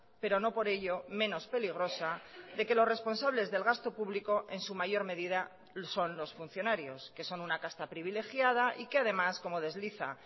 pero no por ello menos peligrosa de que los responsables del gasto público en su mayor medida son los funcionarios que son una casta privilegiada y que además como desliza